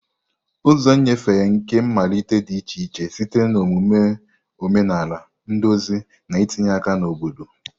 Ụzọ nnyefe nke mmalite dị iche iche site na omume omenala, nduzi, na itinye aka na obodo.